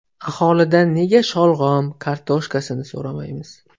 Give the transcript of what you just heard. Aholidan nega sholg‘om, kartoshkasini so‘ramaymiz?